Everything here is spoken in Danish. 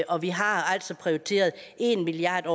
og vi har altså prioriteret en milliard